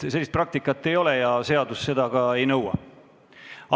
Sellist praktikat ei ole ja seadus seda ka ei nõua.